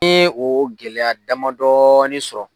N yeo gɛlɛya dama dɔɔnin sɔrɔ